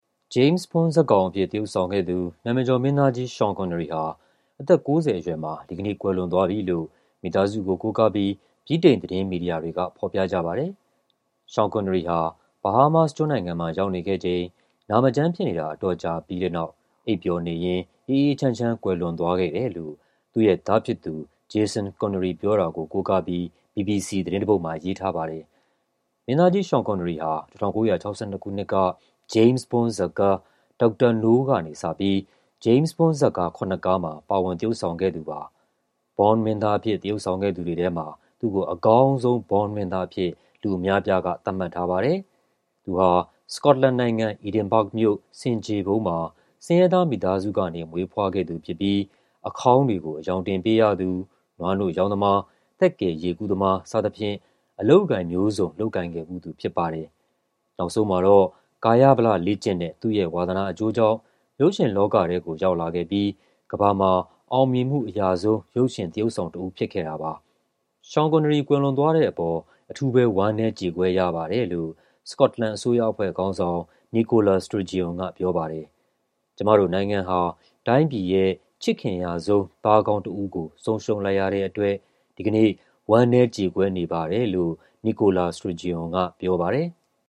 James Bond ဇာတ်ကောင်အဖြစ် သရုပ်ဆောင်ခဲ့သူ နာမည်ကျော်မင်းသားကြီး Sean Connery ဟာ အသက် ၉၀ အရွယ်မှာ ဒီကနေ့ ကွယ်လွန်သွားပြီလို့ မိသားစုကို ကိုးကားပြီး ဗြိတိန်သတင်းမီဒီယာတွေက ဖော်ပြကြပါတယ်။ Sean Connery ဟာ Bahamas ကျွန်းနိုင်ငံမှာ ရောက်နေခဲ့ချိန် နာမကျန်းဖြစ်နေတာ အတော်ကြာပြီးတဲ့နောက် အိပ်ပျော်နေရင်း အေးအေးချမ်းချမ်း ကွယ်လွန်သွားခဲ့တယ်လို့ သူ့ရဲ့သားဖြစ်သူ Jason Connery ပြောတာကို ကိုးကားပြီး BBC သတင်းတပုဒ်မှာ ရေးထားပါတယ်။ မင်းသားကြီး Sean Connery ဟာ ၁၉၆၂ ခုနှစ်က James Bond ဇာတ်ကား Dr. No ကနေစပြီး James Bond ဇာတ်ကား ၇ ကားမှာ ပါဝင်သရုပ်ဆောင်ခဲ့သူပါ။ James Bond မင်းသားအဖြစ် သရုပ်ဆောင်ခဲ့သူတွေထဲမှာ သူ့ကို အကောင်းဆုံး James Bond မင်းသားအဖြစ် လူအများအပြားက သတ်မှတ်ထားပါတယ်။ သူဟာ စကော့တလန်နိုင်ငံ၊ Edinburgh မြို့ ဆင်ဖြေဖုံးမှာ ဆင်းရဲသား မိသားစုကနေ မွေးဖွားခဲ့သူဖြစ်ပြီး အခေါင်းတွေကို အရောင်တင်ပေးရသူ၊ နွားနို့ရောင်းသမား၊ သက်ကယ်ရေကူးသမား စသည်ဖြင့် အလုပ်အကိုင်မျိုးစုံ လုပ်ကိုင်ခဲ့ဖူးသူ ဖြစ်ပါတယ်။ နောက်ဆုံးမှာတော့ ကာယဗလလေ့ကျင့်တဲ့ သူ့ရဲ့ဝါသနာအကျိုးကြောင့် ရုပ်ရှင်လောကထဲကို ရောက်လာခဲ့ပြီး ကမ္ဘာမှာ အောင်မြင်မှုအရဆုံး ရုပ်ရှင်သရုပ်ဆောင်တဦး ဖြစ်ခဲ့တာပါ။ Sean Connery ကွယ်လွန်သွားတဲ့အပေါ် အထူးပဲ ဝမ်းနည်းကြေကွဲရပါတယ်လို့ စကော့တလန် အစိုးရအဖွဲ့ခေါင်းဆောင် Nicola Sturgeon က ပြောပါတယ်။ "ကျမတို့နိုင်ငံဟာ တိုင်းပြည်ရဲ့ ချစ်ခင်ရဆုံး သားကောင်းတဦးကို ဆုံးရှုံးလိုက်ရတဲ့အတွက် ဒီကနေ့ ဝမ်းနည်းကြေကွဲရပါတယ်" လို့ Nicola Sturgeon က ပြောပါတယ်။